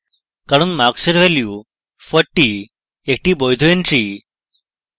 কারণ marks এর value 40 একটি বৈধ entry